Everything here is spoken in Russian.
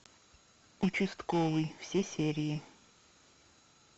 участковый все серии